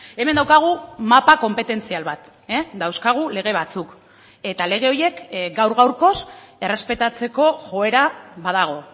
hemen daukagu mapa konpetentzial bat dauzkagu lege batzuk eta lege horiek gaur gaurkoz errespetatzeko joera badago